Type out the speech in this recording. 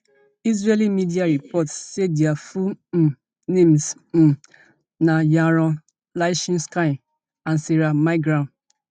israeli media report say dia full um names um na yaron lischinsky and sarah milgram